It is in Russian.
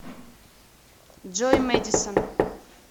джой мэдисон